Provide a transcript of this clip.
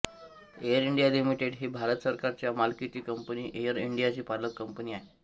air India limited ही भारत सरकारच्या मालकीची कंपनी एअर इंडियाची पालक कंपनी आहे